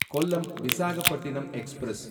Kollam Visakhapatnam express